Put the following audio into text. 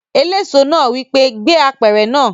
Eléso náà wí pé "gbé apẹ̀rẹ̀ náà!"